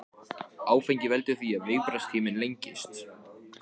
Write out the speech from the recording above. Áfengi veldur því að viðbragðstíminn lengist.